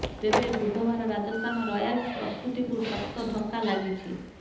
ତେବେ ବୁଧବାର ରାଜସ୍ଥାନ ରୟାଲ୍ସ ପ୍ରସ୍ତୁତିକୁ ଶକ୍ତ ଧକ୍କା ଲାଗିଛି